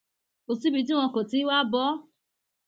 kò síbi tí wọn kò ti ń wáá bọ ọ